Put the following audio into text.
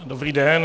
Dobrý den.